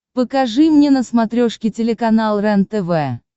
покажи мне на смотрешке телеканал рентв